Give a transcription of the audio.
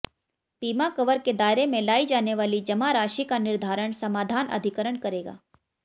बीमा कवर के दायरे में लाई जाने वाली जमा राशि का निर्धारण समाधान अधिकरण करेगा